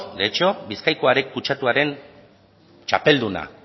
bizkaiko kutsatuaren txapelduna